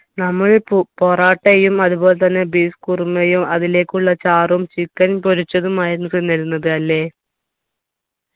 നമ്മൾ പു പൊറാട്ടയും അതുപോലെതന്നെ beef കുറുമയും അതിലേക്കുള്ള സി ചാറും chicken പൊരിച്ചതുമായിരുന്നു തിന്നിരുന്നത് അല്ലെ